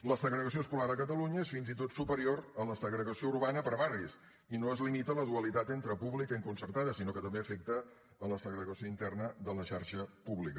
la segregació escolar a catalunya és fins i tot superior a la segregació urbana per barris i no es limita a la dualitat entre pública i concertada sinó que també afecta la segregació interna de la xarxa pública